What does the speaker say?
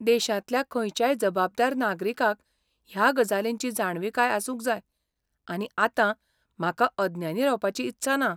देशांतल्या खंयच्याय जबाबदार नागरिकाक ह्या गजालींची जाणविकाय आसूंक जाय, आनी आतां म्हाका अज्ञानी रावपाची इत्सा ना.